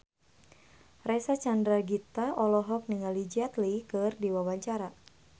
Reysa Chandragitta olohok ningali Jet Li keur diwawancara